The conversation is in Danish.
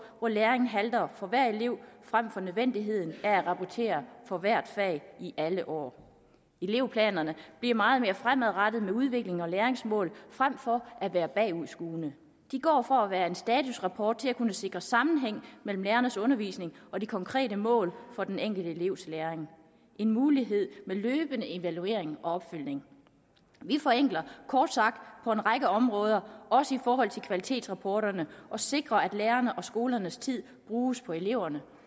hvor læringen halter for hver elev frem for nødvendigheden af at rapportere for hvert fag i alle år elevplanerne bliver meget mere fremadrettede med udviklings og læringsmål frem for at være bagudskuende de går fra at være en statusrapport til at kunne sikre sammenhæng mellem lærernes undervisning og de konkrete mål for den enkelte elevs læring en mulighed med løbende evaluering og opfølgning vi forenkler kort sagt på en række områder også i forhold til kvalitetsrapporterne og sikrer at lærernes og skolernes tid bruges på eleverne